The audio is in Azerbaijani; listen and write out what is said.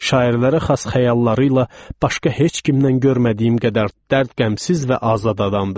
Şairlərə xas xəyalları ilə başqa heç kimdən görmədiyim qədər dərd qəmsiz və azad adamdır.